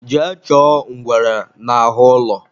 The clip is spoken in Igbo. Jee chọọ ngwere n'ahụ ụlọ